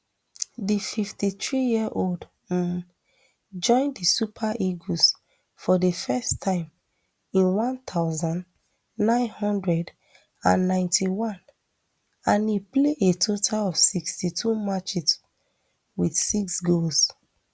di fifty-threeyearold um join di super eagles for di first time in one thousand, nine hundred and ninety-one and e play a total of sixty-two matches wit six goals